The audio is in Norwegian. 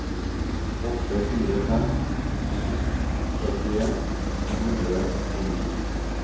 åtte fire fem to førtien to hundre og ni